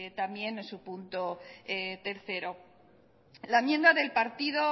también en su punto tercero la enmienda del partido